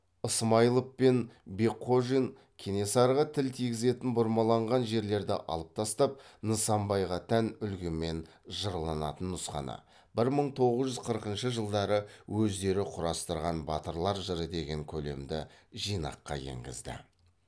ысмайылов пен бекхожин кенесарыға тіл тигізетін бұрмаланған жерлерді алып тастап нысанбайға тән үлгімен жырланатын нұсқаны бір мың тоғыз жүз қырқыншы жылдары өздері құрастырған батырлар жыры деген көлемді жинаққа енгізді